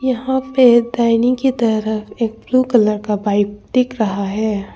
यहां पे दाहिने की तरफ एक ब्लू कलर का बाइक दिख रहा है।